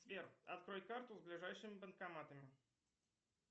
сбер открой карту с ближайшими банкоматами